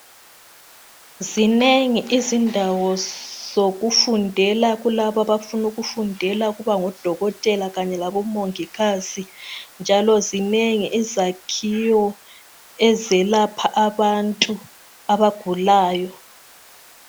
Zinengi izindawo zokufundela. Kulabo abafuna ukufundela ukuba ngodokotela kanye kabomongikazi. Njalo zinengi izakhiwo ezelapha abantu abanengi abagulayo.